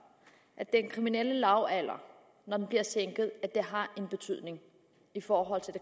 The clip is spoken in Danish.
at sænkelsen af den kriminelle lavalder har betydning i forhold til